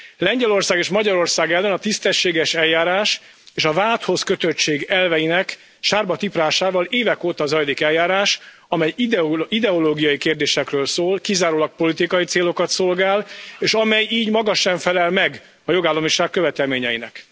Lengyelország és Magyarország ellen a tisztességes eljárás és a vádhoz kötöttség elveinek sárba tiprásával évek óta zajlik eljárás, amely ideológiai kérdésekről szól, kizárólag politikai célokat szolgál, és amely így maga sem felel meg a jogállamiság követelményeinek.